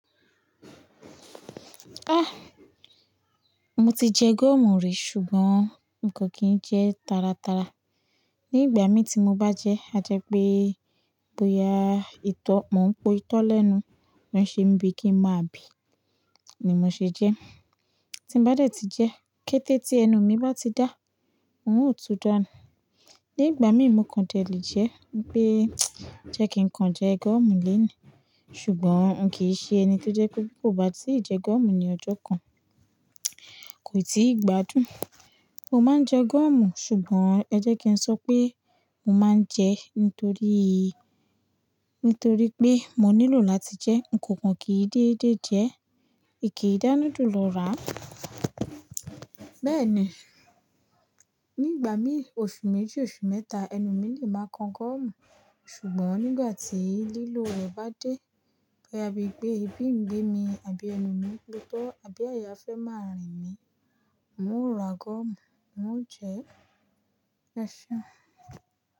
Ah! Mo ti jẹ gọ́ọ̀mù rí ṣùgbọ́n n kò kí jẹ taratara. Ni ìgbà mí tí mo bá jẹ, a jẹ pé bóya ìtọ́, mò ń po ìtọ́ lẹ́nu, ó n ṣe bíi kí ń máa bì, ni mo ṣe jẹ. Tí n bá dẹ̀ ti jẹ, kété tí ẹnu mi bá ti dá, n ó tú dánu. Ni ìgbà mí mo kan dẹ̀ lè jẹ, pé jẹ́ kí n kan jẹ gọ́ọ̀mù lénìí, ṣùgbọ́n n kìí ṣe ẹni tó jẹ́ kó bí kò bá tí ì jẹ gọ́ọ̀mù ní ọjọ́ kan, kò ti ì gbádùn. Mo máa ń jẹ gọ́ọ̀mù, ṣùgbọ́n ẹ jẹ́ kí n sọ pé mo máa ń jẹ nítorí, nítorí pé mo nílò láti jẹ, n kò kan kí dédé jẹ, ìkìí dá núdù lo rà. Bẹ́ẹ̀ ni, nígbà mí oṣù méjì, oṣù mẹ́ta, ẹnu mi lè máa kan gọ́ọ̀mù, ṣùgbọ́n nígbà tí lílò rẹ̀ bá dé, bóyá bí i pé ibí ń gbé mi àbí ẹnu mi gbébọ́, àbí àyà fẹ́ máa rìn mí, n ó ra gọ́ọ̀mù, n ó jẹ, e seun.